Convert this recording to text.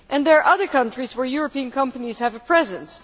There are also other countries where European companies have a presence.